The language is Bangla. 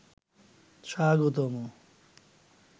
স্বাগতম